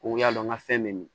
O y'a dɔn ŋa fɛn bɛ min